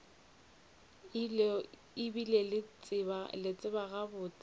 e bile ke tseba gabotse